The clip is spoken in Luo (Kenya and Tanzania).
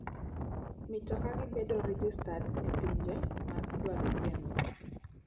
Mitoka gi bedo rejestad e pinje ma idwarogieno.